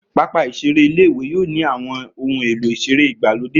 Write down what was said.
Pápá ìseré ilé-ìwé yóò ní àwọn ohun èlò ìseré ìgbàlódé